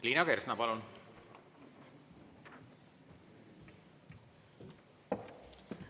Liina Kersna, palun!